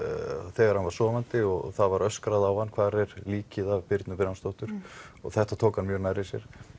þegar hann var sofandi og það var öskrað á hann hvar er líkið af Birnu og þetta tók hann mjög nærri sér